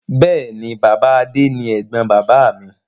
Bẹ́ẹ̀ni, Bàbá Adé ni ẹ̀gbọ́n bàbáà mi.